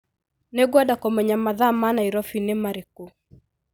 Nĩngwenda kũmenya mathaa ma Nairobi nĩ marĩkũ.